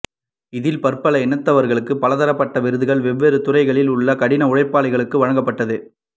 இதில் பற்பல இனத்தவர்களுக்கு பலதரப்பட்ட விருதுகள் வெவ்வேறு துறைகளில் உள்ள கடின உழைப்பாளிகளுக்கு வழங்கப்பட்டது